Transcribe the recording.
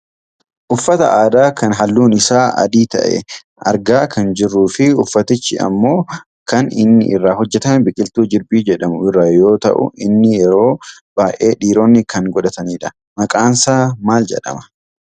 Uffata aadaa kan halluun isaa adii ta'e argaa kan jirruufi uffatichi ammoo kan inni irraa hojjatame biqiltuu jirbii jedhamu irraa yoo ta'u inni yeroo baayyee dhiironni kan godhatanidha. Maqaansaa maal jedhama?